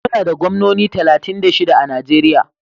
Muna da gwamnoni talatin da shida a Najeriya.